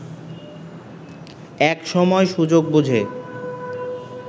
এক সময় সুযোগ বুঝে